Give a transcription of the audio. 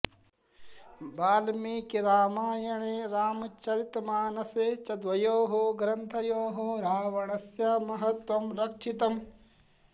वाल्मीकिरामायणे रामचरितमानसे च द्वयोः ग्रन्थयोः रावणस्य महत्वं रक्षितम्